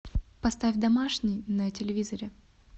поставь домашний на телевизоре